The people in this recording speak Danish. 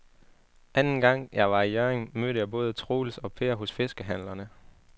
Anden gang jeg var i Hjørring, mødte jeg både Troels og Per hos fiskehandlerne.